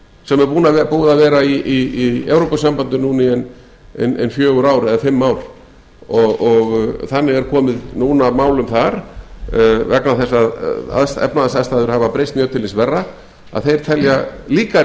sem er búið að vera í evrópusambandinu núna í ein fjögur eða fimm ár og þannig er komið núna málum þar vegna þess að efnahagsaðstæður hafa breyst mjög til hins verra að þeir telja líka